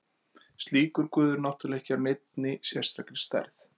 Slíkur guð er náttúrulega ekki af neinni sérstakri stærð.